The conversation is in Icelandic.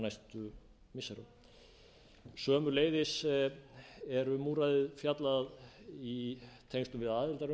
næstu misserum sömuleiðis er um úrræðið fjallað í tengslum við aðildarumsókn íslands að